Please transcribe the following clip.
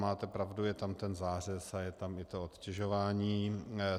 Máte pravdu, je tam ten zářez a je tam i to odtěžování.